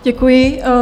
Děkuji.